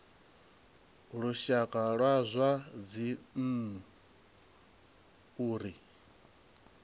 lushaka wa zwa dzinnu uri